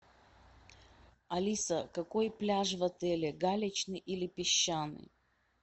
алиса какой пляж в отеле галечный или песчаный